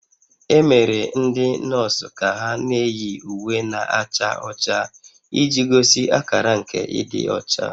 E mere ndị nọọsụ ka ha na-eyi uwe na-acha ọcha iji gosi akara nke ịdị ọcha